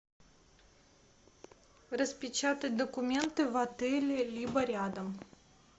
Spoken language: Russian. распечатать документы в отеле либо рядом